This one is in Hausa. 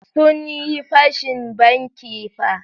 Sun yi fashin banki fa.